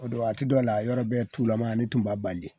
O do waati dɔ la yɔrɔ bɛɛ tulama ne tun b'a baliye